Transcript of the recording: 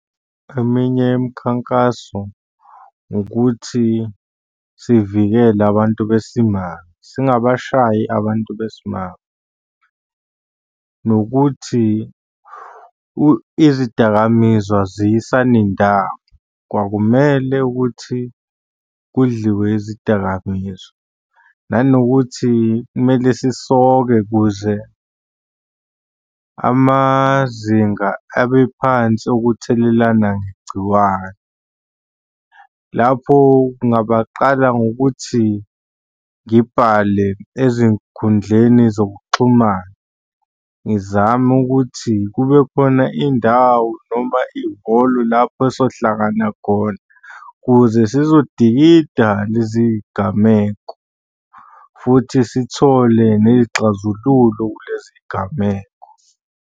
Eminye imikhankaso ukuthi sivikele abantu besimame, singabashayi abantu besimame, nokuthi izidakamizwa aziyisani ndawo. Kwakumele ukuthi kudliwe izidakamizwa, nanokuthi kumele sisonke ukuze amazinga abe phansi okuthelelana ngegciwane. Lapho kungabaqala ngokuthi ngibhale ezinkundleni zokuxhumana, ngizame ukuthi kube khona indawo noma ihholo lapho esohlangana khona ukuze sizodikida lezi gameko futhi sithole ney'xazululo kulezi gameko.